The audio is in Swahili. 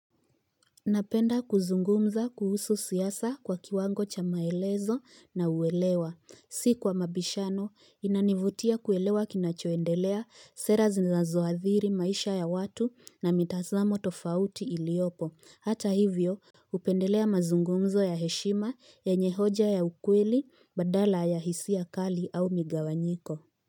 Napenda kuzungumza kuhusu siasa kwa kiwango cha maelezo na uelewa. Si kwa mabishano, inanivutia kuelewa kinachoendelea, sera zinazoathiri maisha ya watu na mitazamo tofauti iliyopo. Hata hivyo, hupendelea mazungumzo ya heshima yenye hoja ya ukweli badala ya hisia kali au migawanyiko.